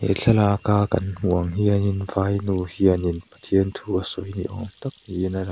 thlalaka kan hmuh ang hian in vai nu hian in pathian thu a sawi niawm tak in a lang a.